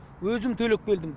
өзім төлеп келдім